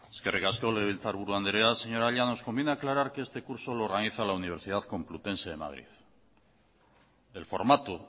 eskerrik asko legebiltzarburu andrea señora llanos conviene aclarar que este curso lo organiza la universidad complutense de madrid el formato